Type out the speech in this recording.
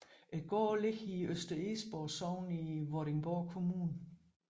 Gården ligger i Øster Egesborg Sogn i Vordingborg Kommune